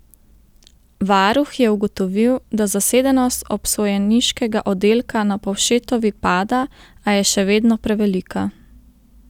Varuh je ugotovil, da zasedenost obsojeniškega oddelka na Povšetovi pada, a je še vedno prevelika.